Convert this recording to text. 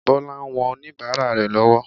Bọlá ń wọn oníbàárà rẹ̀ lọ́wọ́.